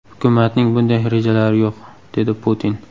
Hukumatning bunday rejalari yo‘q”, dedi Putin.